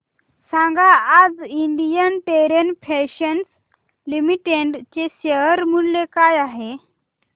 सांगा आज Indian Terrain Fashions Limited चे शेअर मूल्य काय आहे